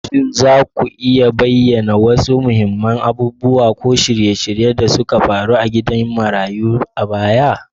Shin za ku iya bayyana wasu muhimman abubuwa ko shirye-shirye da suka faru a gidan marayun a baya?